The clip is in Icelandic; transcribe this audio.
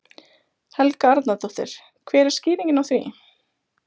Helga Arnardóttir: Hver er skýringin á því?